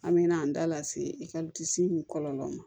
An me na an da lase ekɔliso in kɔlɔlɔ ma